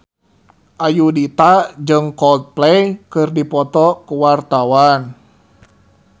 Ayudhita jeung Coldplay keur dipoto ku wartawan